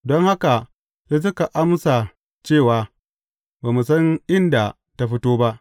Don haka, sai suka amsa cewa, Ba mu san inda ta fito ba.